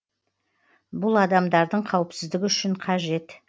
бұл адамдардың қауіпсіздігі үшін қажет